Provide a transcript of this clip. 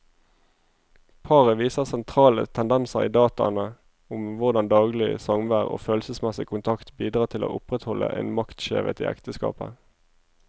Paret viser sentrale tendenser i dataene om hvordan daglig samvær og følelsesmessig kontakt bidrar til å opprettholde en maktskjevhet i ekteskapet.